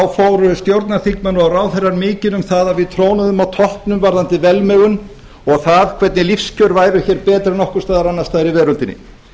fóru stjórnarþingmenn og ráðherrar mikinn um það að við trónuðum á toppnum varðandi velmegun og það hvernig lífskjör væru hér betri en nokkurs staðar annars staðar í veröldinni